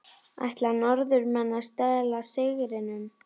Ætla Norðmenn að stela sigrinum???